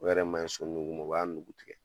O yɛrɛ ma ɲi so nugu ma, o b'a nugu tigɛ.